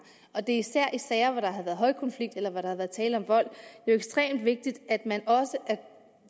og det er især i sager hvor der har været højkonflikt eller hvor der har været tale om vold jo ekstremt vigtigt at man også er